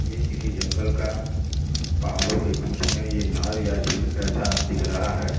यह किसी जंगल का पहाड़ों के बीच में ये नहर या झील ऐसा दिख रहा है।